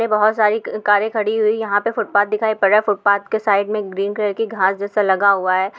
बहुत सारी कारें खड़ी हुई है यहाँ पे फुटपाथ दिखाई पड़ रहा है फुटपाथ के साइड में ग्रीन कलर का घास जैसा लगा हुआ है।